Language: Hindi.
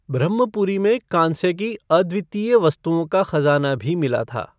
ब्रम्हपुरी में कांस्य की अद्वितीय वस्तुओं का ख़ज़ाना भी मिला था।